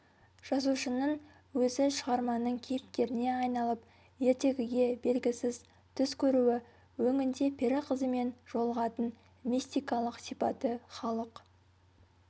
жазушының өзі шығарманың кейіпкеріне айналып ертегіге бергісіз түс көруі өңінде пері қызымен жолығатын мистикалық сипаты халық